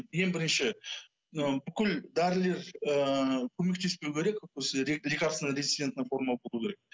ең бірінші ы бүкіл дәрілер ыыы көмектеспеу керек осы лекарственно резистентная форма болуы керек